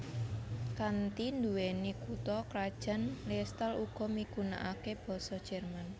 Kanthi nduwèni kutha krajan Liestal Uga miggunakake basa Jerman